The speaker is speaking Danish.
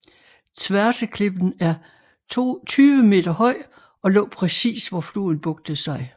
Zvārteklippen er 20 meter høj og lå præcis hvor floden bugtede sig